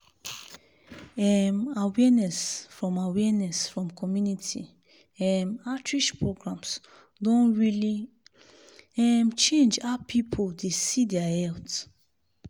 um awareness from awareness from community um outreach programs don really um change how people dey see their health.